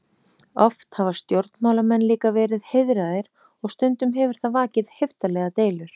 Oft hafa stjórnmálamenn líka verið heiðraðir og stundum hefur það vakið heiftarlegar deilur.